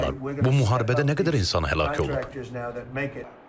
Bu müharibədə nə qədər insan həlak olub?